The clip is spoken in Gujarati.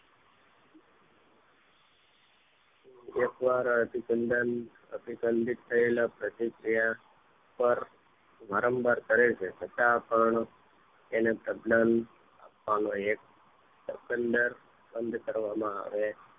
એકવાર અભિસંધાન અભીસંધિત થયેલા પ્રતિક્રિયા પર વારંવાર કરે છે છતાં પણ તેને સબ્લમ આવાનો એક અવસર બંધ કરવામાં આવે છે